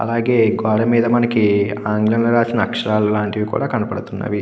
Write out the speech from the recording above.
అలాగే గోడమీద మనకి ఆంగ్లం లో రాసిన అక్షరాలు లాంటివి కూడా కనబడుతున్నవి.